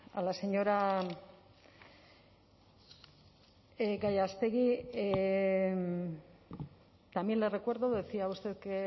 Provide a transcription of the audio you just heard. a la señora gallástegui también le recuerdo decía usted que